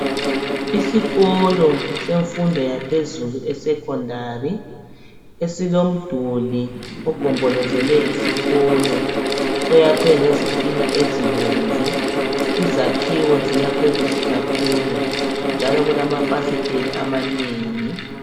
Isikolo semfundo yaphezulu isekhondari e silomduli ogombolozele isikolo oyakhwe ngezitina ezibomvu, izakhiwo zakhiwe kahle kakhulu njalo kulamafasiteli amanengi.